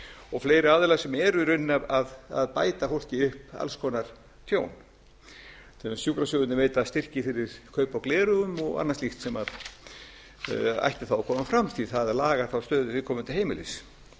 og fleiri aðilar sem eru í rauninni að bæta fólki upp alls konar tjón sjúkrasjóðirnir veita til dæmis styrki til kaupa á gleraugum og annars slíks sem ætti þá að koma fram því að það lagar þá stöðu viðkomandi heimilis